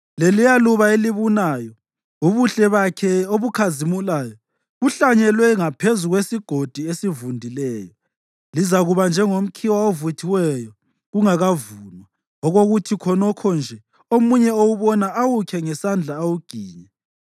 Leliyaluba elibunayo, ubuhle bakhe obukhazimulayo, kuhlanyelwe ngaphezu kwesigodi esivundileyo, lizakuba njengomkhiwa ovuthiweyo kungakavunwa okuthi khonokho nje omunye ewubona awukhe ngesandla awuginye.